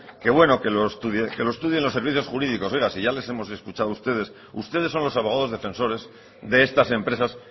que bueno que lo estudien los servicios jurídicos oiga si ya les hemos escuchado a ustedes ustedes son los abogados defensores de estas empresas